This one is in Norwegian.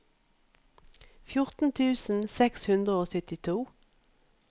fjorten tusen seks hundre og syttito